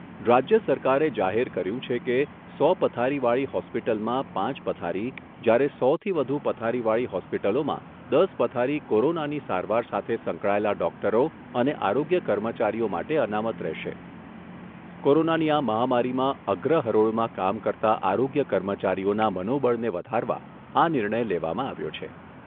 રાજ્ય સરકારે જાહેર કર્યુ છે કે, સો પથારીવાળી હૉસ્પિટલમાં પાંચ પથારી, જ્યારે સોથી વધુ પથારીવાળી હૉસ્પિટલોમાં દસ પથારી કોરોનાની સારવાર સાથે સંકળાયેલા ડૉક્ટરો અને આરોગ્ય કર્મચારીઓ માટે અનામત રહેશે, કોરોનાની આ મહામારીમાં અગ્રહરોળમાં કામ કરતા આરોગ્ય કર્મચારીઓના મનોબળને વધારવા આ નિર્ણય લેવામાં આવ્યો છે.